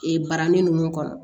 Ee barani ninnu kɔnɔ